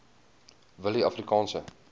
willieafrikaanse